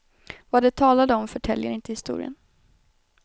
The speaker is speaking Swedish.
Vad de talade om förtäljer inte historien.